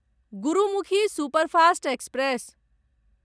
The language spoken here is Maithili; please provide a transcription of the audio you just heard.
Gurmukhi superfast express